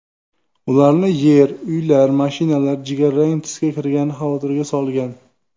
Ularni yer, uylar, mashinalar jigarrang tusga kirgani xavotirga solgan.